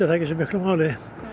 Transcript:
ekki svo miklu máli